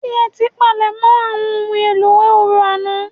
Ṣé ẹ ti palẹ̀ mọ àwọn ohun èlò orò àná